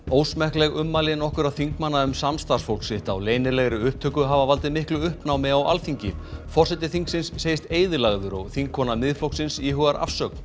ósmekkleg ummæli nokkurra þingmanna um samstarfsfólk sitt á leynilegri upptöku hafa valdið miklu uppnámi á Alþingi forseti þingsins segist eyðilagður og þingkona Miðflokksins íhugar afsögn